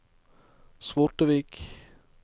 Svortevik